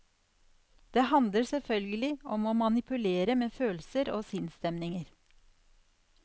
Det handler selvfølgelig om å manipulere med følelser og sinnsstemninger.